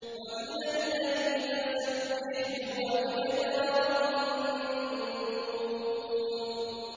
وَمِنَ اللَّيْلِ فَسَبِّحْهُ وَإِدْبَارَ النُّجُومِ